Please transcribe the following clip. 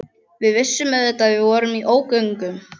Við vissum auðvitað að við vorum í ógöngum.